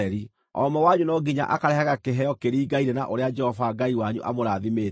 O ũmwe wanyu no nginya akarehaga kĩheo kĩringaine na ũrĩa Jehova Ngai wanyu amũrathimĩte.